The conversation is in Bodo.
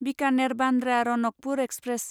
बिकानेर बान्द्रा रनकपुर एक्सप्रेस